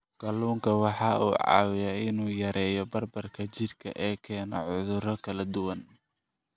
Kalluunku waxa uu caawiyaa in uu yareeyo bararka jidhka ee keena cudurro kala duwan.